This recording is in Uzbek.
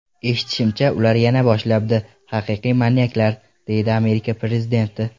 Eshitishimcha, ular yana boshlabdi… Haqiqiy manyaklar”, deydi Amerika prezidenti.